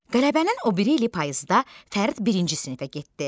Qələbənin o biri ili payızda Fərid birinci sinifə getdi.